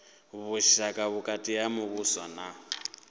vhushaka vhukati ha muvhuso na